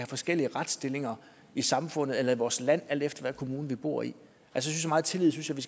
forskellig retsstilling i samfundet eller i vores land alt efter hvilken kommune vi bor i så meget tillid synes jeg